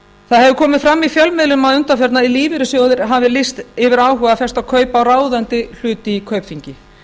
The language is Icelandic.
það hefur komið fram í fjölmiðlum að undanförnu að lífeyrissjóðir hafi lýst yfir áhuga á að festa kaup á ráðandi hlut í kaupþingi